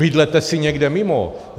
Bydlete si někde mimo.